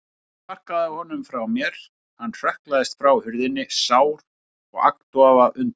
Ég sparkaði honum frá mér, hann hrökklaðist frá hurðinni, sár og agndofa af undrun.